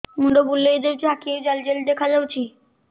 ମୁଣ୍ଡ ବୁଲେଇ ଦେଉଛି ଆଖି କୁ ଜାଲି ଜାଲି ଦେଖା ଯାଉଛି